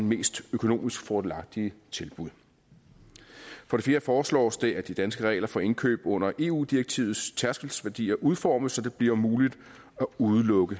mest økonomisk fordelagtige tilbud for det fjerde foreslås det at de danske regler for indkøb under eu direktivets tærskelværdier udformes så det bliver muligt at udelukke